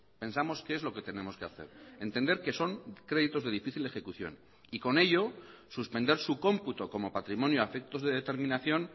pensamos que es lo que tenemos que hacer entender que son créditos de difícil ejecución y con ello suspender su computo como patrimonio a efectos de determinación